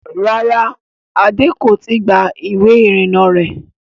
Rárá, Adé kò i tí gba ìwé ìrìnnà rẹ̀